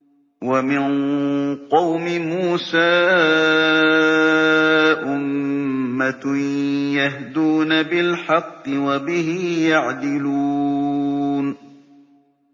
وَمِن قَوْمِ مُوسَىٰ أُمَّةٌ يَهْدُونَ بِالْحَقِّ وَبِهِ يَعْدِلُونَ